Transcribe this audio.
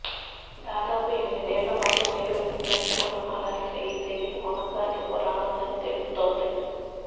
దాదాపు ఏనిమిదేళ్లపాటు టెలివిజన్ ప్రేక్షకులను అలరించిన ఈ సిరియల్ కొనసాగింపు రానుందని తెలుస్తోంది